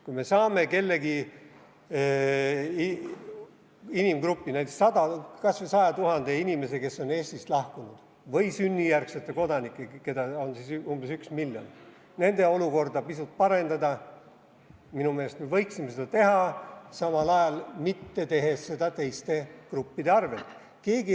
Kui me saame mingi inimgrupi, näiteks kas või 100 000 inimese, kes on Eestist lahkunud, või sünnijärgsete kodanike, keda on umbes üks miljon, olukorda pisut parandada, siis minu meelest me võiksime seda teha, samal ajal mitte teha seda teiste gruppide arvel.